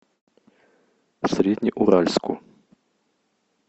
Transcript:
среднеуральску